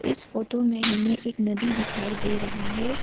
इस फोटो में हमें एक नदी दिखाई दे रहा है।